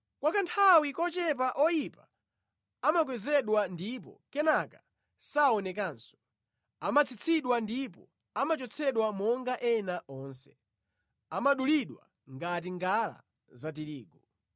Kwa kanthawi kochepa oyipa amakwezedwa ndipo kenaka saonekanso; amatsitsidwa ndipo amachotsedwa monga ena onse; amadulidwa ngati ngala za tirigu.